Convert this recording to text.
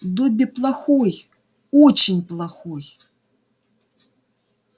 добби плохой очень плохой